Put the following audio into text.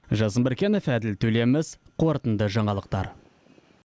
жазын біркенов әділ төлеміс қорытынды жаңалықтар